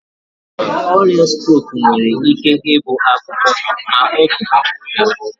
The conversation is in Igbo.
Ọrịa strok nwere ike ịbụ akụkụ ma ọ bụ juputara.